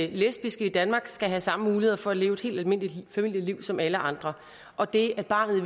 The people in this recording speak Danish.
lesbiske i danmark skal have samme muligheder for at leve et helt almindeligt familieliv som alle andre og det at barnet i